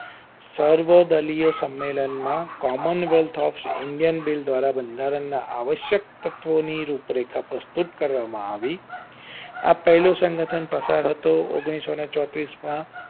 સર્વ દલીય સંમેલન માં common wealth of indian bill દ્વારા વધારા ના આવશ્યક તત્વો ની રૂપરેખા પ્રસ્તુત કરવામાં આવી આ પહેલું સંગઠન પ્રસાણ હતો ઓન્ગ્લીસો ચોત્રીસ માં